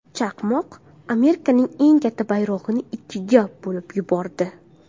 Chaqmoq Amerikaning eng katta bayrog‘ini ikkiga bo‘lib yubordi.